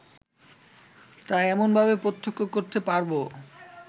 তা এমনভাবে প্রত্যক্ষ করতে পারব